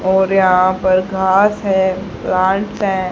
और यहां पर घास है प्लांट्स हैं।